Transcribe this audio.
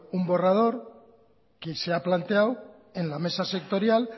un borrador que se ha planteado en la mesa sectorial